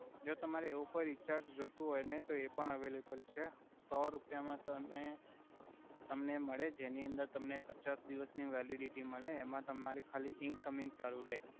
જો તમારે એવુ કોઇ રિચાર્જ જોતુ હોય ને તો એ પણ અવઈલેબલ છે સો રુપિયા મા તમે તમને મડે જેનિ અંદર તમને પચાસ દિવસ ઇ વેલિડિટી મલે એમા તમારે ખાલી ઇંકમિંગ્સ ચાલુ રે